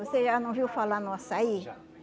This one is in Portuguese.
Você já não viu falar no açaí? Já